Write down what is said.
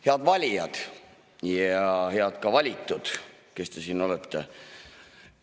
Head valijad ja head valitud, kes te siin olete!